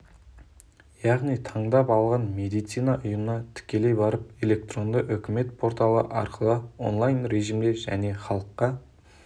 яғни таңдап алған медицина ұйымына тікелей барып электронды үкімет порталы арқылы онлайн режимде және халыққа